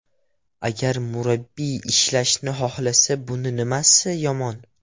Agar murabbiy ishlashni xohlasa, buni nimasi yomon?